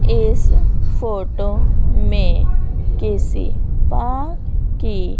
इस फोटो में किसी पा की--